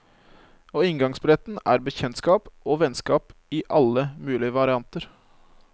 Og inngangsbilletten er bekjentskap og vennskap i alle mulige varianter.